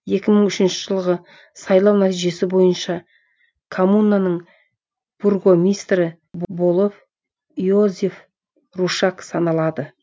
екі мың үшінші жылғы сайлау нәтижесі бойынша коммунаның бургомистрі болып йозеф рушак саналады